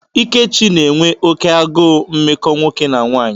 Ikechi n'enwe oke agụụ mmekọ nwoke na nwanyị.